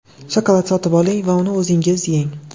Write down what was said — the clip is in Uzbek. Shokolad sotib oling va uni o‘zingiz yeng.